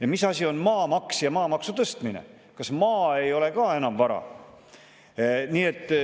Ja mis asi on maamaks ja maamaksu tõstmine, kas maa ei ole ka enam vara?